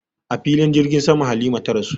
A filin jirgin sama Halima ta rasu